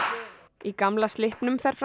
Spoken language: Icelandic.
í Gamla slippnum fer fram